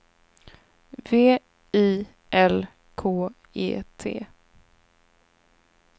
V I L K E T